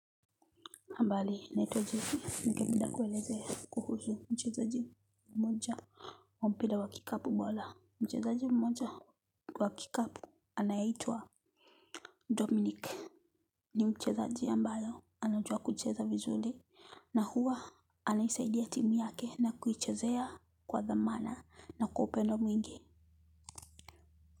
Mbali, naitwa jesii, nike mda kwelezea kuhuzu mchazaji mmoja. Mpira wa kikapu bola. Mchazaji mmoja wa kickap anayeitua Dominic. Ni mchazaji ambayo, anajua kucheza vizuli. Na huwa anaisaidia timu yake na kuichazea kwa thamana na kuopendo mwingi.